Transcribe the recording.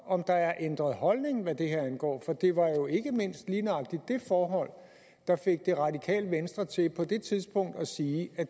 om der er ændret holdning hvad det her angår for det var jo ikke mindst lige nøjagtig det forhold der fik det radikale venstre til på det tidspunkt at sige at